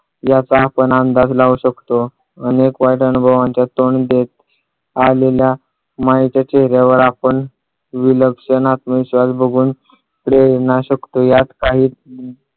याचा आपण अंदाज लावू शकतो अनेक वाईट अनुभवांना तोंड देत आलेल्या मायाच्या चेहर्‍यावर आपण विलक्षण आत्मविश्वास बघून प्रेरणा शकतो यात काही